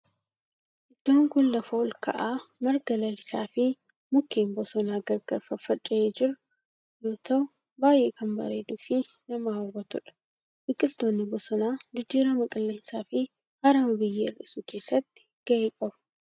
Iddoon kun lafa olka'aa marga lalisaa fi mukkeen bosonaa gargar faffaca'ee jiru yoo ta'u baayyee kan bareeduu fi nama hawwatudha. Biqiltoonni bosonaa jijjiirama qilleensaa fi harama biyyee hir'isuu keessatti gahee qabu.